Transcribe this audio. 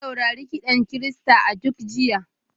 Na saurari kiɗan Kirista a duk jiya.